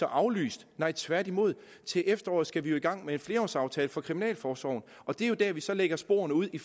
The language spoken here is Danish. aflyst nej tværtimod til efteråret skal vi jo i gang med en flerårsaftale for kriminalforsorgen og det er dér vi så lægger sporene ud i